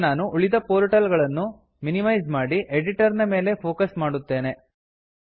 ಈಗ ನಾನು ಉಳಿದ ಪೋರ್ಟಲ್ ಗಳನ್ನು ಮಿನಿಮೈಸ್ ಮಾಡಿ ಎಡಿಟರ್ ನ ಮೇಲೆ ಫೋಕಸ್ ಮಾಡುತ್ತೇನೆ